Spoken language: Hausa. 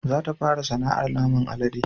Za ta fara sana'ar naman alade